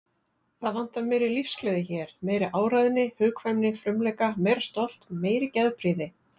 Það vantar meiri lífsgleði hér, meiri áræðni, hugkvæmni, frumleika, meira stolt, meiri geðprýði.